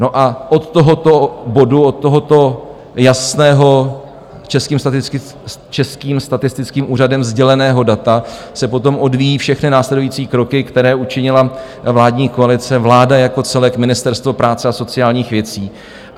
No a od tohoto bodu, od tohoto jasného, Českým statistickým úřadem sděleného data se potom odvíjejí všechny následující kroky, které učinila vládní koalice, vláda jako celek, Ministerstvo práce a sociálních věcí.